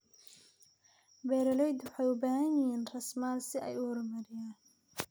Beeralaydu waxay u baahan yihiin raasamaal si ay u horumariyaan.